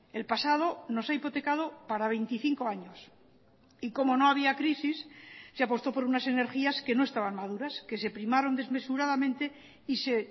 el pasado nos ha hipotecado para veinticinco años y como no había crisis se apostó por unas energías que no estaban maduras que se primaron desmesuradamente y se